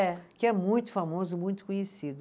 É. Que é muito famoso, muito conhecido.